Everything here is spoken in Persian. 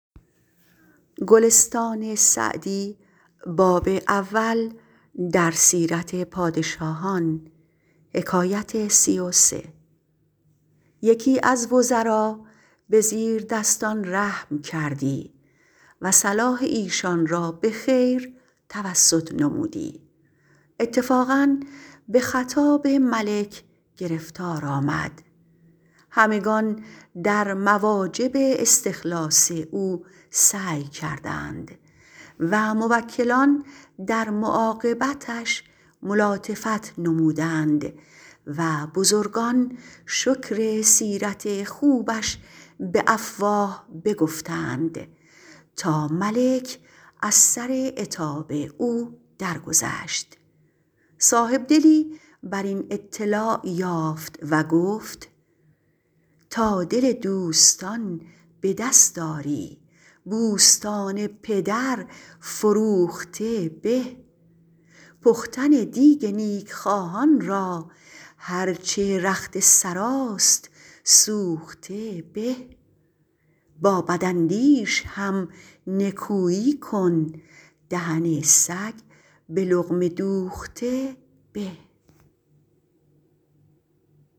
یکی از وزرا به زیردستان رحم کردی و صلاح ایشان را به خیر توسط نمودی اتفاقا به خطاب ملک گرفتار آمد همگنان در مواجب استخلاص او سعی کردند و موکلان در معاقبتش ملاطفت نمودند و بزرگان شکر سیرت خوبش به افواه بگفتند تا ملک از سر عتاب او درگذشت صاحبدلی بر این اطلاع یافت و گفت ﺗﺎ دل دوﺳﺘﺎن ﺑﻪ دﺳﺖ ﺁری ﺑﻮﺳﺘﺎن ﭘﺪر ﻓﺮوﺧﺘﻪ ﺑﻪ پختن دیگ نیکخواهان را هر چه رخت سراست سوخته به ﺑﺎ ﺑﺪاﻧﺪﻳﺶ هم ﻧﻜﻮﻳﻰ کن دهن ﺳﮓ ﺑﻪ ﻟﻘﻤﻪ دوﺧﺘﻪ ﺑﻪ